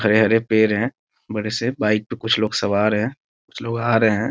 हरे हरे पेड़ हैं बड़े से बाइक में कुछ लोग सवार हैं कुछ लोग आ रहें हैं।